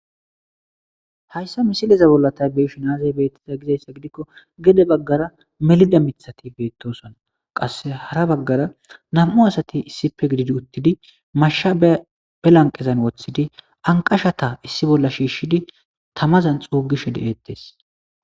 hayssa misileza bollatay beeshin azabeetiza gizayssa gidikko gede baggara melida mithati beettosona qasse hara baggara nam7u asati issipe gididi uttidi masha be lanqezan woththidi anqashata issi bolla shiishshidi tamazan xuugishe de7eettes